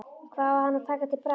Hvað á hann að taka til bragðs?